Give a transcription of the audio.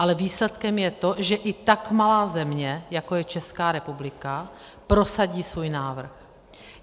Ale výsledkem je to, že i tak malá země, jako je Česká republika, prosadí svůj návrh.